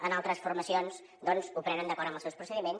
en altres formacions doncs ho prenen d’acord amb els seus procediments